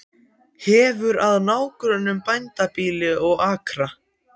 Hefur að nágrönnum bændabýli og akra.